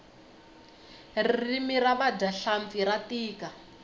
ririmi ra vadya hlampfi ra tika